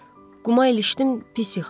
Quma ilişdim, pis yıxıldım.